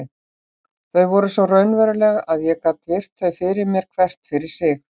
Þau voru svo raunveruleg að ég gat virt þau fyrir mér hvert fyrir sig.